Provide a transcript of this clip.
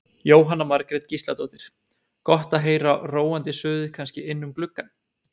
Jóhanna Margrét Gísladóttir: Gott að heyra róandi suðið kannski inn um gluggann?